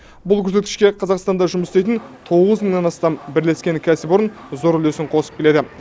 бұл көрсеткішке қазақстанда жұмыс істейтін тоғыз мыңнан астам бірлескен кәсіпорын зор үлесін қосып келеді